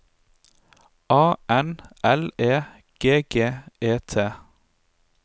A N L E G G E T